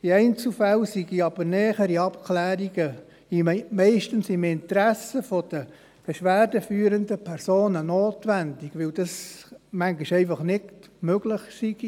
In Einzelfällen seien aber nähere Abklärungen meistens im Interesse der beschwerdeführenden Personen notwendig, weil es manchmal innerhalb der Zeit einfach nicht möglich sei.